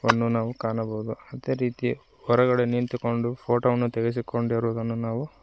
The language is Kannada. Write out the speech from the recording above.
ಅನ್ನು ನಾವು ಕಾಣಬಹುದು ಅದೇ ರೀತಿ ಹೊರಗಡೆ ನಿಂತುಕೊಂಡು ಫೋಟೋ ವನ್ನು ತೆಗೆಸಿಕೊಂಡಿರುವುದನ್ನು ನಾವು--